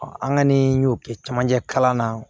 an ka nin y'o kɛ camancɛ kalan na